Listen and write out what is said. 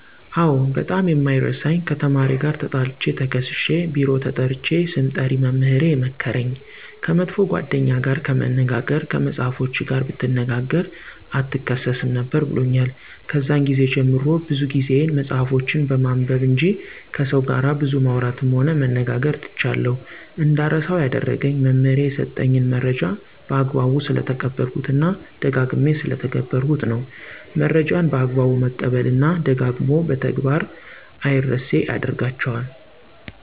አዎ ! በጣም የማይረሳኝ ከተማሪ ጋር ተጣልቸ ተከሠስሸ ቢሮ ተጠርቸ ስምጠሪ መምህሬ የመከረኝ። ከመጥፎ ጓደኛ ጋር ከመነጋገር ከመፅሐፎችህ ጋር ብትነጋገ አትከሠስም ነበር ብሎኛል። ከዛን ግዜ ጀምሬ ብዙ ጊዜየን መፅሐፎችን በማንበብ እንጅ ከሠው ጋር ብዙ ማውራትም ሆነ መነጋገር ትቻለሁ። እንዳረሳው ያደረገኝ መምህሬ የሠጠኝን መረጃ በአግባቡ ስለተቀበልሁት እና ደጋግሜ ስለተገበርሁት ነው። መረጃን በአግባቡ መቀበል እና ደጋግሞ በተግበር አምረሴ ያደርጋቸዋል።